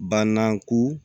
Bananku